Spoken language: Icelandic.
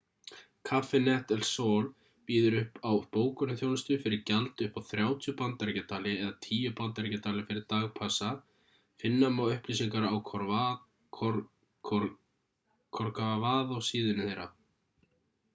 cafenet el sol býður upp á bókunarþjónustu fyrir gjald upp á 30 bandaríkjadali eða 10 bandaríkjadali fyrir dagspassa finna má upplýsingar á corcovado-síðunni þeirra